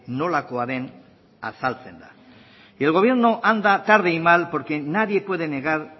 nolakoa den azaltzen da y el gobierno anda tarde y mal porque nadie puede negar